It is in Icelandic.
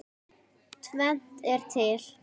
Tvennt er til.